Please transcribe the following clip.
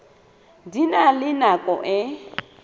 di na le nako e